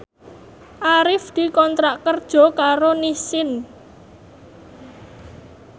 Arif dikontrak kerja karo Nissin